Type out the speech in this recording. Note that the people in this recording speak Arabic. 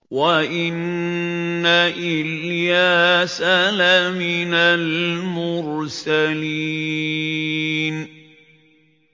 وَإِنَّ إِلْيَاسَ لَمِنَ الْمُرْسَلِينَ